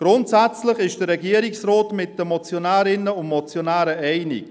Grundsätzlich ist der Regierungsrat mit den Motionärinnen und Motionären einig.